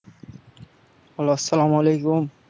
আসসালামুয়ালাইকুম।